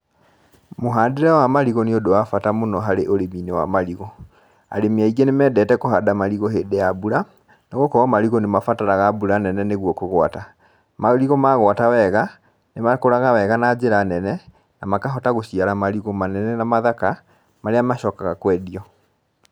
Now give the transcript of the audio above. Mũhandĩre wa marigũ nĩ ũndũ wa bata mũno harĩ ũrĩmi-inĩ wa marigũ, arĩmi aingĩ nĩ mendete kũhanda marigũ hĩndĩ ya mbura, nĩ gũkorwo marigũ nĩ mabataraga mbura nene mũno nĩguo kũgwata, marigũ magwata wega, nĩ makũraga wega na njĩra nene, na makahota gũciara marigũ manene na mathaka. marĩa macokaga kwendio